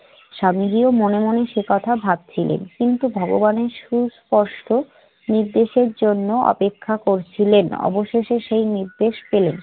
স্বামীজিও মনে মনে সেই কথা ভাবছিলেন, কিন্তু ভগবানের সুস্পষ্ট নির্দেশের জন্য অপেক্ষা করছিলেন। অবশেষে সেই নির্দেশ পেলেন।